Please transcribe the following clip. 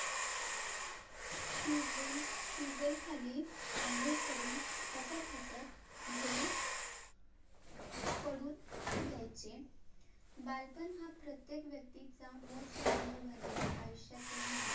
tubewelltubewell खाली अंघोळ करून हसत हसत घरी पडून येयचे बालपण हा प्रत्येक व्यक्तीचा मोजमज्जेने भरलेला आयुष्यातील महत्व~